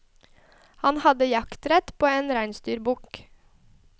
Han hadde jaktrett på en reinsdyrbukk.